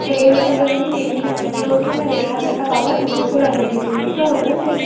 ਫੇਰ ਇਹ ਸੋਚ੍ਲੋ ਕਹਿੰਦੀ ਮੇਰੀ ਵੀ ਲੰਬੀ ਉਮਰ ਉੱਥੋ ਮੈਂ ਵੇਖਿਆ ਮੈਂ ਕਿਹਾ ਬਾਬਾ ਤੁਰੋ ਭਲਾਂ ਲੰਬੀ ਜ਼ਿੰਦਗੀ ਵੀ ਤਾਂ ਹੋਵੇ ਬੰਦੇ ਦੀ